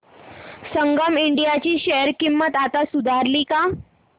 संगम India ची share किंमत आता सुधारली का